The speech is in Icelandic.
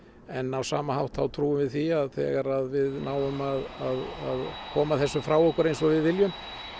en á sama hátt þá trúum við því að þegar að við náum að koma þessu frá okkur eins og við viljum